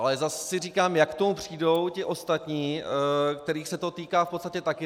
Ale zase si říkám, jak k tomu přijdou ti ostatní, kterých se to týká v podstatě taky.